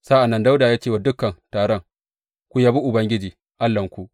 Sa’an nan Dawuda ya ce wa dukan taron, Ku yabi Ubangiji Allahnku.